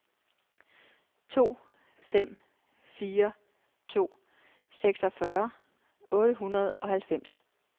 to fem fire to seksogfyrre otte hundrede og halvfems